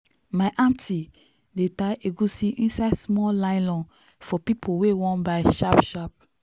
my aunti dey tie egusi inside small nylon for people wey wan buy sharp sharp.